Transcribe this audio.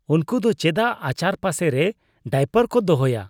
ᱩᱱᱠᱩ ᱫᱚ ᱪᱮᱫᱟᱜ ᱟᱪᱟᱨ ᱯᱟᱥᱮᱨᱮ ᱰᱟᱭᱯᱟᱮ ᱠᱚ ᱫᱚᱦᱚᱭᱟ ?